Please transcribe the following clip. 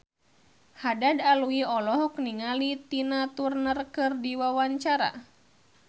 Haddad Alwi olohok ningali Tina Turner keur diwawancara